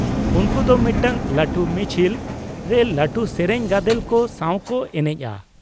ᱩᱱᱠᱩ ᱫᱚ ᱢᱤᱫᱴᱟᱝ ᱞᱟᱹᱴᱩ ᱢᱤᱪᱷᱤᱞ ᱨᱮ ᱞᱟᱹᱴᱩ ᱥᱮᱨᱮᱧ ᱜᱟᱫᱮᱞ ᱠᱚ ᱥᱟᱶ ᱠᱚ ᱮᱱᱮᱡᱼᱟ ᱾